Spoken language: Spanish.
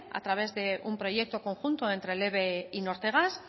a través de un proyecto conjunto entre el eve y nortegas